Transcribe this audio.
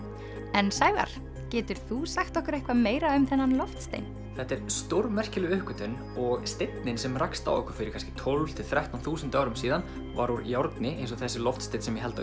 en Sævar getur þú sagt okkur eitthvað meira um þennan loftstein þetta er stórmerkileg uppgötvun og steinninn sem rakst á okkur fyrir kannski tólf til þrettán þúsund árum síðan var úr járni eins og þessi loftsteinn sem ég held á